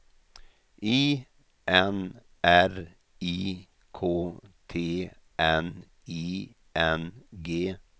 I N R I K T N I N G